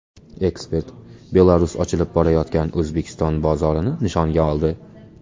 Ekspert: Belarus ochilib borayotgan O‘zbekiston bozorini nishonga oldi.